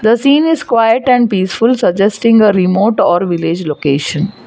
The scene is quite and peaceful suggesting a remote or village location.